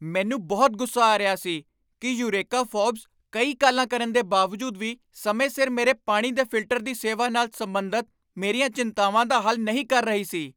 ਮੈਨੂੰ ਬਹੁਤ ਗੁੱਸਾ ਆ ਰਿਹਾ ਸੀ ਕਿ ਯੂਰੇਕਾ ਫੋਰਬਸ ਕਈ ਕਾਲਾਂ ਕਰਨ ਦੇ ਬਾਵਜੂਦ ਵੀ ਸਮੇਂ ਸਿਰ ਮੇਰੇ ਪਾਣੀ ਦੇ ਫਿਲਟਰ ਦੀ ਸੇਵਾ ਨਾਲ ਸਬੰਧਤ ਮੇਰੀਆਂ ਚਿੰਤਾਵਾਂ ਦਾ ਹੱਲ ਨਹੀਂ ਕਰ ਰਹੀ ਸੀ।